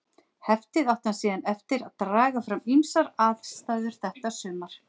Heftið átti hann síðan eftir að draga fram við ýmsar aðstæður þetta sumar.